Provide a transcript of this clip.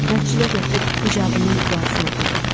Məscidə gətirib hicabının duasını oxudu.